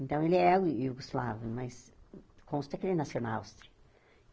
Então, ele é iugoslavo, mas consta que ele nasceu na Áustria.